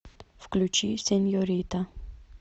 включи сеньорита